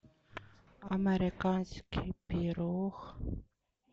американский пирог